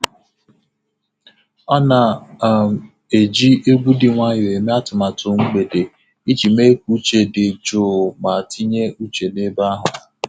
Ọ um na-eji egwu dị nwayọọ eme atụmatụ mgbede iji mee ka uche dị jụụ ma tinye uche n'ebe ahụ.